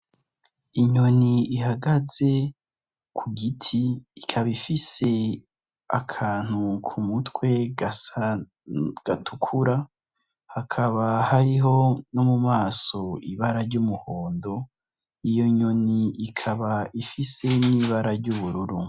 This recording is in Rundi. Inyoni ihagaze ku giti ikaba ifise akantu ku mutwe gatukura hakaba hariho no mu maso ibara ry'umuhondo iyo nyoni ikaba ifise n'ibara ry'ubururu.